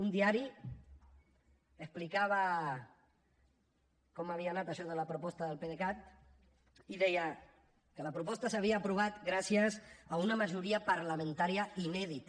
un diari explicava com havia anat això de la proposta del pdecat i deia que la proposta s’havia aprovat gràcies a una majoria parlamentària inèdita